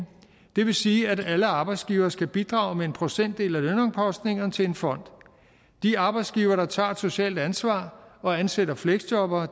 det vil sige at alle arbejdsgivere skal bidrage med en procentdel af lønomkostningerne til en fond de arbejdsgivere der tager et socialt ansvar og ansætter fleksjobbere